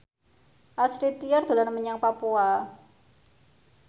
Astrid Tiar dolan menyang Papua